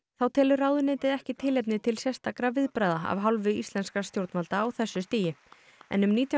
þá telur ráðuneytið ekki tilefni til sérstakra viðbragða af hálfu íslenskra stjórnvalda á þessu stigi en um nítján